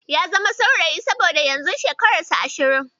Ya zama saurayi saboda yanzu shekararsa Ashirin.